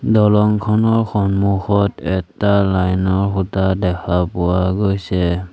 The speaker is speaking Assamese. দলংখনৰ সন্মুখত এটা লাইনৰ খুঁটা দেখা পোৱা গৈছে।